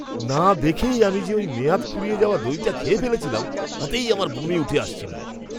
না দেখেই আমি যে ওই মেয়াদ ফুরিয়ে যাওয়া দইটা খেয়ে ফেলেছিলাম ওতেই আমার বমি উঠে আসছিল।